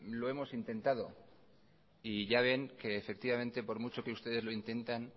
lo hemos intentado y ya ven que efectivamente por mucho que ustedes lo intenten